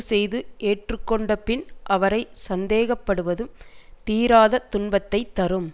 செய்து ஏற்றுக்கொண்டபின் அவரை சந்தேகப்படுவதும் தீராத துன்பத்தை தரும்